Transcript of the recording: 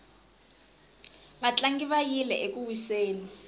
vatlangi va yile eku wiseni